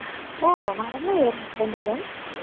ഓ നടന്നു കയറിയോ ഇത്രയും ദൂരം.